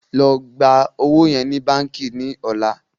ló gbà ọwo yen ní bánkì ní ọlá!